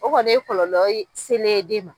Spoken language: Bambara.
O kɔni ye kɔlɔlɔ selen ye den ma.